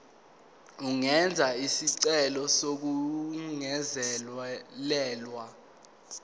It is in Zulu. angenza isicelo sokungezelelwa